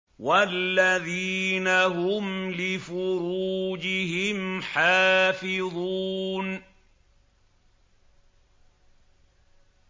وَالَّذِينَ هُمْ لِفُرُوجِهِمْ حَافِظُونَ